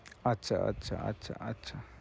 আচ্ছা, আচ্ছা, আচ্ছা, আচ্ছা